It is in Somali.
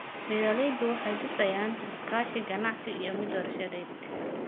Beeraleydu waxay dhisayaan iskaashi ganacsi iyo mid warshadeed.